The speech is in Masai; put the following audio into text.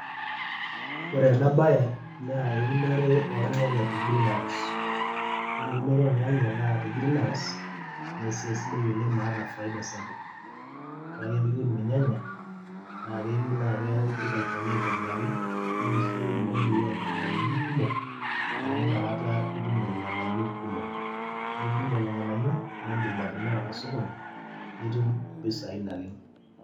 Ore ena baye naa eunore ornyanya te greenhouse, ore eunoto ornyanya naa te greenhouse naa esiai sidai oleng' naata faida sapuk. Ore ake pee iun irnyanya naa keyieu naa ipik olchani aitobiraki nirishie indudui oonkaibilaiti kumok amu nakata itum irng'anayiok kumok, ore piitum lelo ng'anayio naa aindim atimira tosokoni nitum impisai naleng'.